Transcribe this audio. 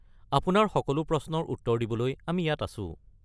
আপোনাৰ সকলো প্ৰশ্নৰ উত্তৰ দিবলৈ আমি ইয়াত আছো।